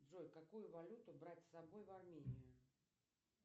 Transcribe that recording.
джой какую валюту брать с собой в армению